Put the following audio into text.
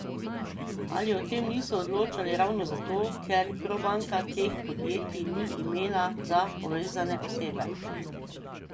Ali o tem niso odločali ravno zato, ker Probanka teh podjetij ni imela za povezane osebe?